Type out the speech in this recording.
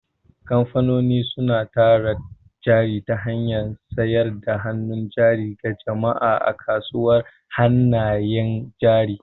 Kamfanoni suna tara jari ta hanyar sayar da hannun jari ga jama'a a kasuwar hannayen jari.